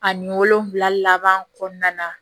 Ani wolonfila laban kɔnɔna na